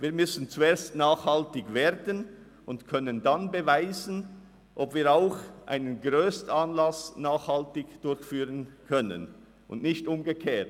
Wir müssen zuerst nachhaltig werden und dann können beweisen, ob wir auch einen Anlass in dieser Grössenordnung nachhaltig durchführen können – und nicht umgekehrt.